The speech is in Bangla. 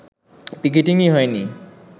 পিকেটিংই হয়নি